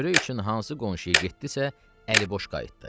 Çörək üçün hansı qonşuya getdisə, əliboş qayıtdı.